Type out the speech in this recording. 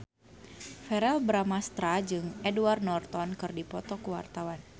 Verrell Bramastra jeung Edward Norton keur dipoto ku wartawan